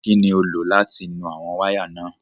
Kín ni o lò láti nu àwọn wáyà náà?